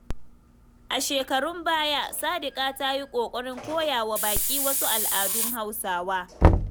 A shekarun baya, Sadiqa ta yi ƙoƙarin koya wa baƙi wasu al'adun Hausawa.